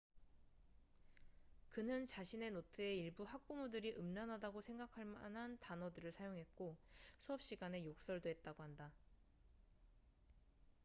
그는 자신의 노트에 일부 학부모들이 음란하다고 생각할만한 단어들을 사용했고 수업 시간에 욕설도 했다고 한다